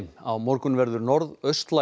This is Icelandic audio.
á morgun verður